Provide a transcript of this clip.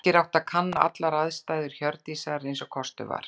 Birkir átti að kanna allar aðstæður Hjördísar eins og kostur var.